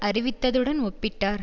அறிவித்ததுடன் ஒப்பிட்டார்